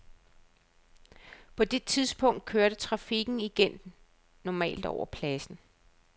På det tidspunkt kørte trafikken igen normalt over pladsen.